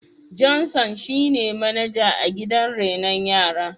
Johnson shine manaja a gidan raino yara.